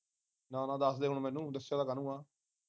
ਨਾ ਨਾ ਦੱਸਦੇ ਹੁਣ ਮੈਨੂੰ ਦੱਸਿਆ ਤਾਂ ਕਾਹਨੂੰ ਆ